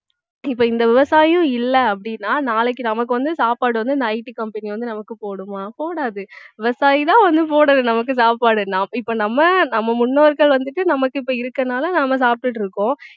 இப்ப இந்த விவசாயம் இல்லை அப்படின்னா நாளைக்கு நமக்கு வந்து சாப்பாடு வந்து இந்த IT company வந்து நமக்கு போடுமா போடாது விவசாயிதான் வந்து போடணும் நமக்கு சாப்பாடு நம்~ இப்ப நம்ம நம்ம முன்னோர்கள் வந்துட்டு நமக்கு இப்ப இருக்கிறதுனால நாம சாப்பிட்டுட்டு இருக்கோம்